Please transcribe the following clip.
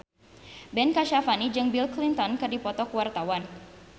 Ben Kasyafani jeung Bill Clinton keur dipoto ku wartawan